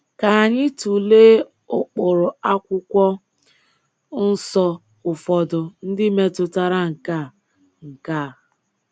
Ka anyị tụlee ụkpụrụ Akwụkwọ Nsọ ụfọdụ ndị metụtara nke a. nke a.